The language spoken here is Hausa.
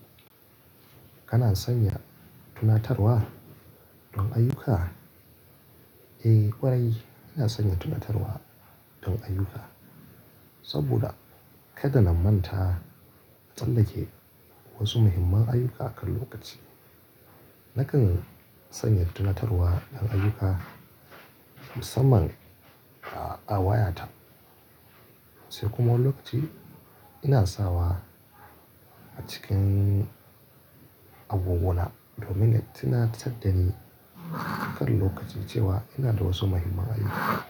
Kana sanya tunatarwa don ayyuka? Eh ƙwarai, ina sanya tunatarwa don ayyuka. Saboda kada na manta tsallake wasu muhimman ayyuka a kan lokaci. Nakan sanya tunatarwa don ayuka musamman a wayata. Sai kuma lokaci ina sawa a cikin agogona domin yana tunatar dani wani lokaci cewa ina da wasu muhimman ayyuka.